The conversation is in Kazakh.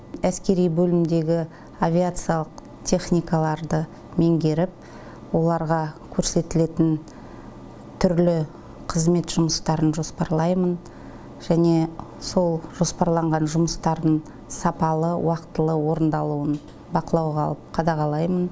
әскери бөлімдегі авиациялық техникаларды меңгеріп оларға көрсетілетін түрлі қызмет жұмыстарын жоспарлаймын және сол жоспарланған жұмыстардың сапалы уақытылы орындалуын бақылауға алып қадағалаймын